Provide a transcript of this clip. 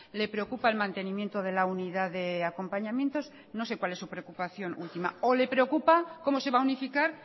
le preocupa el mantenimiento de la unidad de acompañamientos no sé cuál es su preocupación última o le preocupa cómo se va a unificar